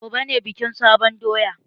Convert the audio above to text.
Gobe ne bikin sabon doya.